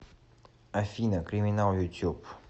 афина криминал ютюб